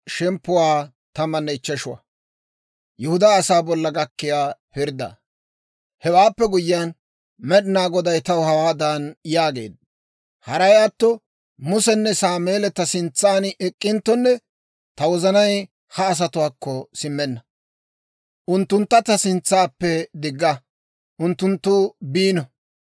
Hewaappe guyyiyaan, Med'inaa Goday taw hawaadan yaageedda; «Haray atto Musenne Sameeli ta sintsan ek'k'inttonne, ta wozanay ha asatuwaakko simmenna. Unttuntta ta sintsappe digga; unttunttu biino.